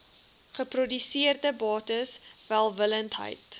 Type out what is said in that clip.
geproduseerde bates welwillendheid